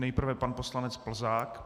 Nejprve pan poslanec Plzák.